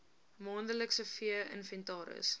maandelikse vee inventaris